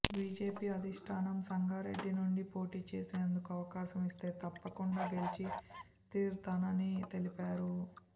BJP అధిష్టానం సంగారెడ్డి నుంచి పోటీ చేసేందుకు అవకాశం ఇస్తే తప్పకుండా గెలిచి తీరతానని తెలిపారు